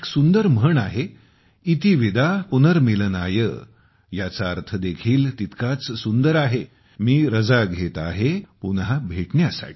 एक सुंदर म्हण आहे - 'इति विदा पुनर्मिलनाय' याचा अर्थ देखील तितकाच सुंदर आहे मी रजा घेत आहे पुन्हा भेटण्यासाठी